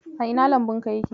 A ina lambunka yake?